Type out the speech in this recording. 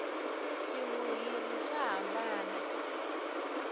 swihuhiri swa hambana